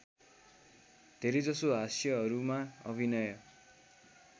धेरैजसो हास्यहरूमा अभिनय